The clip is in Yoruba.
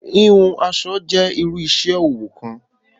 Hìhùn aṣọ jẹ̀ iru iṣẹ-ọwọ kan